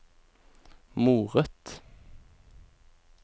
moret